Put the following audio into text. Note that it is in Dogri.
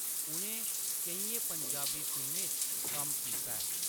उʼनें केइयें पंजाबी फिल्में च कम्म कीता ऐ।